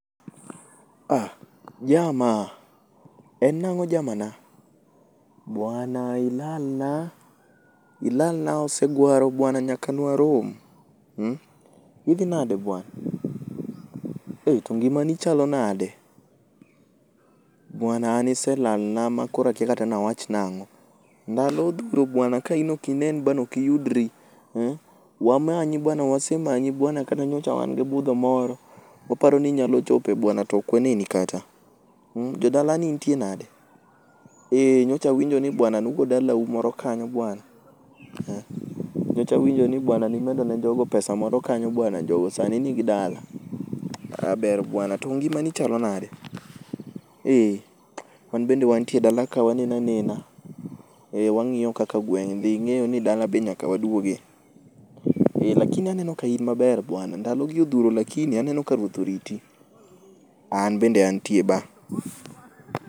Ah Jama, en nang'o jama na, Buana ilalna. Ilalna oseguaro buana nyaka nwarom. Mmh. Idhi nade buana. Eih to ngimani chalo nade? Buana an iselal na makoro akya kata nia wach nang'o. Ndalo odhuro buana ka in ok inen bana ok iyudri. Wamanyi buana, wasemanyi buana. Kata nyocha ne wan gi budho moro, waparo ni inyalo chope buana, to ok waneni kata. Mmmh. Jodala ni nitie nade? Eeh nyocha awinjo ni buana nugo dalau moro kanyo buana. Nyocha awinjo ni buana nimedo ne jogo pesa moro kanyo buana jogo sani nigi dala. Aah ber buana. To ngima ni chalo nade? Eeeh. Wanbe wantie dala ka waneno anena. Eeh wang'iyo kaka gweng' dhi. Ing'eyo ni dala bende nyaka waduoge. Lakini aneno ka in maber buana. Ndalo gi odhuro lakini aneno ka Ruoth oriti. An bende antie Ba.